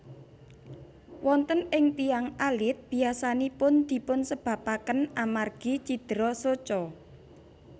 Wonten ing tiyang alit biyasanipun dipun sebabaken amargi cidera soca